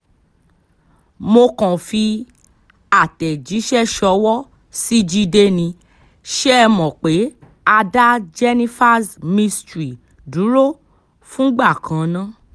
mo kàn fi àtẹ̀jíṣẹ́ ṣọwọ́ sí jíde nì ṣe é mọ̀ pé a dá jenifas mystery dúró fúngbà kan ná